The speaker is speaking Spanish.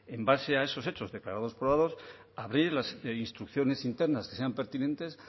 en base a esos hechos declarados probados abrir las instrucciones internas que sean pertinentes